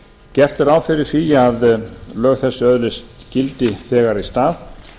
gert er ráð fyrir því að lög þessi öðlist gildi þegar í stað